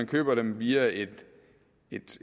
købe dem via et